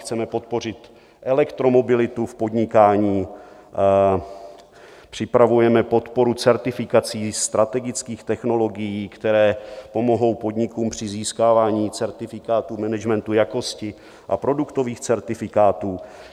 Chceme podpořit elektromobilitu v podnikání, připravujeme podporu certifikací, strategických technologií, které pomohou podnikům při získávání certifikátu managementu jakosti a produktových certifikátů.